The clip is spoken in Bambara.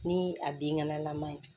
Ni a den ŋanalama ye